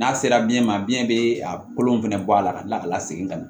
N'a sera biyɛn ma biyɛn be a kolon fɛnɛ bɔ a la ka kila ka lasegin ka na